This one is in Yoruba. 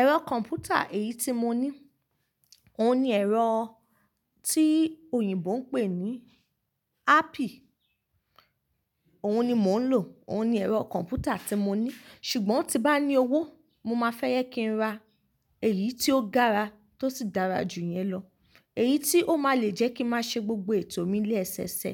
Ẹ̀rọ kọ̀mpútà èyí tí mo ní, òun ni ẹ̀rọ tí òyìnbó ń pè ní apple, òun ni mò ń lò, òun ni ẹ̀rọ kọ̀mpútà tí mo ní, ṣùgbọ́n tí n bá ní owó, mo máa fẹ́ yẹ kí n ra èyí tí ó gara ti o sì dára jù iyẹn lọ. Èyí tí ó máa le jẹ́ kí n máa ṣe gbogbo ètò mi ni ẹsẹsẹ,